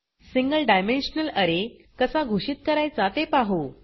single dimensional अरे कसा घोषित करायचा ते पाहु